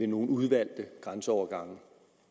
nogle udvalgte grænseovergange